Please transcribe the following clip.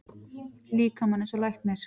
líkamann eins og læknir.